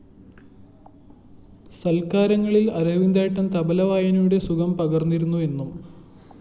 സല്‍ക്കാരങ്ങളില്‍ അരവിന്ദേട്ടന്‍ തബ്ല വായനയുടെ സുഖം പകര്‍ന്നിരുന്നു എന്നും